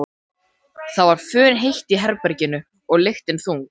Það var funheitt í herberginu og lyktin þung.